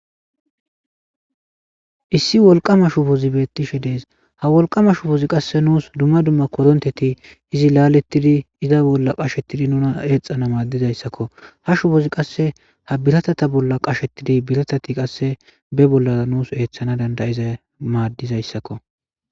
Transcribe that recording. Issi wolqama shubozi bettishe dees ha wolqama shubozi qasse nuus dumma dumma koronteti izi laaletidi iza bolla qashettidi nuna eexana maaddizayssakko ha shubozi qasse ha biratata bolla qashetidi biratati qasse be bolla nuus eethana dandayiza maaddizayssakko.